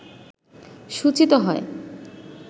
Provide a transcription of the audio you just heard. সূচীত হয়